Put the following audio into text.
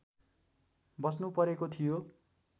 बस्नुपरेको थियो